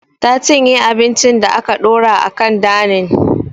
Ta cinye abincin da aka ɗora a kan danin